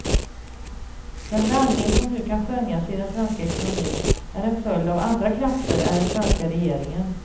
Den vändning som nu kan skönjas i den svenska ekonomin är en följd av andra krafter än den svenska regeringen.